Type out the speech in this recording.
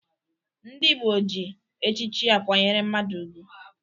Ndị Igbo ji echichi akwanyere mmadụ ugwu.